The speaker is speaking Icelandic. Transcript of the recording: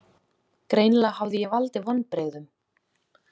Greinilega hafði ég valdið vonbrigðum.